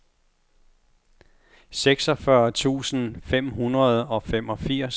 seksogfyrre tusind fem hundrede og femogfirs